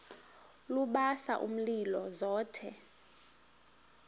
lubasa umlilo zothe